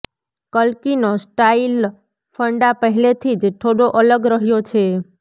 કલ્કીનો style funda પહેલેથી જ થોડો અલગ રહ્યો છે